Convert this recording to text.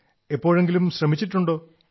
എപ്പോഴെങ്കിലും ശ്രമിച്ചിട്ടുേണ്ടാ